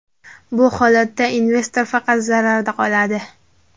Bu holatda investor faqat zararda qoladi.